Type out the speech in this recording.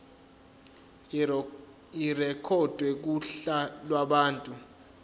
irekhodwe kuhla lwabantu